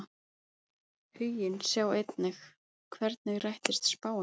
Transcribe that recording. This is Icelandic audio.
Huginn Sjá einnig: Hvernig rættist spáin?